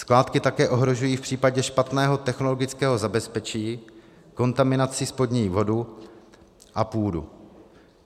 Skládky také ohrožují v případě špatného technologického zabezpečení kontaminací spodní vodu a půdu.